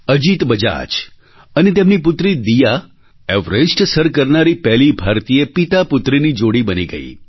અજિત બજાજ અને તેમની પુત્રી દીયા એવરેસ્ટ સર કરનારી પહેલી ભારતીય પિતાપુત્રની જોડી બની ગઈ